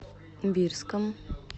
бирском